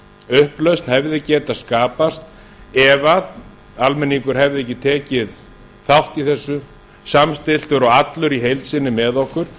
upplausn hefði getað skapast ef almenningur hefði ekki tekið þátt í þessu samstilltur og allur í heild sinni með okkur